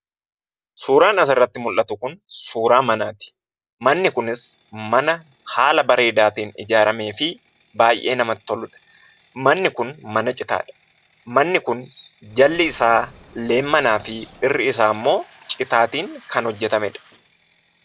Suuraan asirratti mul'atu kun suuraa manaati. Manni kunis mana haala bareedaa ta'een ijaaramee fi baay'ee namatti toludha. Manni kun mana citaadha. Manni kun jalli isaa leemmanaa fi irri isaa immoo citaatiin kan hojjetamedha.